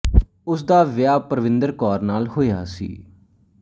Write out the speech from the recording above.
ਉਸ ਦਾ ਵਿਆਹ ਪਰਵਿੰਦਰ ਕੌਰ ਨਾਲ ਹੋਇਆ ਸੀ